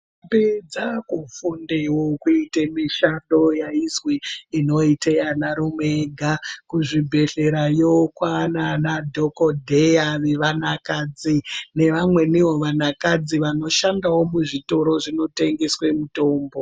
Ndombi dzava kufundawo kuite mishando yaizwi inoite vanarume vega kuzvibhedhlera yo kwava naana dhokodheya vevana kadzi nevamweni wo vanakadzi vanoshanda kuzvitoro zvinotengeswe mitombo.